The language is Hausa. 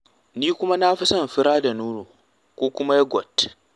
Ni kuwa na fi son fira da nono ko kuma yogot.